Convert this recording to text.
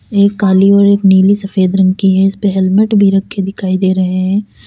एक काली और एक नीली सफेद रंग की है। इसपे हेलमेट भी रखे दिखाई दे रहे हैं।